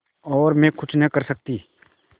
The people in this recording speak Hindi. और मैं कुछ नहीं कर सकती